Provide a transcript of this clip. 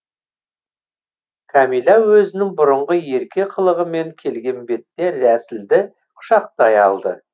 кәмилә өзінің бұрынғы ерке қылығымен келген бетте рәсілді құшақтай алды